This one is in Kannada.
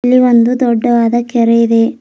ಇಲ್ಲಿ ಒಂದು ದೊಡ್ಡವಾದ ಕೆರೆ ಇದೆ.